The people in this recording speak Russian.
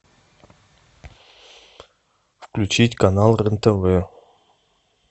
включить канал рен тв